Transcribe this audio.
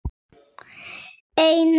Einar Sæm.